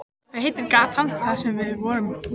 Hvað heitir gatan þar sem við vorum?